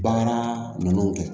Bagan ninnu kɛ